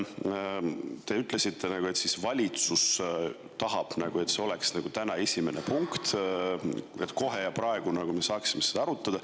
Te ütlesite, et valitsus tahab, et see oleks täna esimene punkt, ja kohe ja praegu me peame seda arutama.